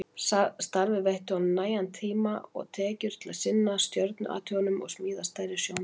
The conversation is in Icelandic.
Starfið veitti honum nægan tíma og tekjur til að sinna stjörnuathugunum og smíða stærri sjónauka.